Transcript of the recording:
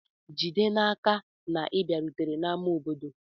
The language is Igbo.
Jide n'aka na ị bịarutere ama obodo.